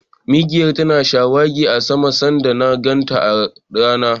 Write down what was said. Mikiyar tana shawagi a sama sanda na ganta da rana.